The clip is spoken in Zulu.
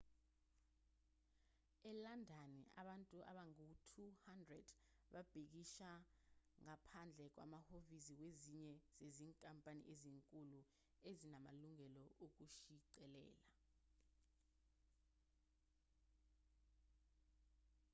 elandani abantu abangaba u-200 babhikisha ngaphandle kwamahhovisi wezinye zezinkampani ezinkulu ezinamalungelo okushicilela